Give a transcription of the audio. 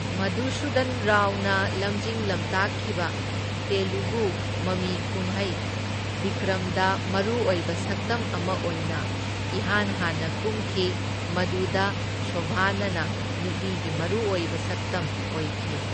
ꯃꯙꯨꯁꯨꯗꯟ ꯔꯥꯎꯅ ꯂꯝꯖꯤꯡ ꯂꯝꯇꯥꯛꯈꯤꯕ ꯇꯦꯂꯨꯒꯨ ꯃꯃꯤꯀꯨꯝꯍꯩ ꯕꯤꯀ꯭ꯔꯝꯗ ꯃꯔꯨꯑꯣꯢꯕ ꯁꯛꯇꯝ ꯑꯃ ꯑꯣꯢꯅ ꯏꯍꯥꯟ ꯍꯥꯟꯅ ꯀꯨꯝꯈꯤ, ꯃꯗꯨꯗ ꯁꯣꯚꯅꯅ ꯅꯨꯄꯤꯒꯤ ꯃꯔꯨꯑꯣꯢꯕ ꯁꯛꯇꯝ ꯑꯣꯢꯈꯤ꯫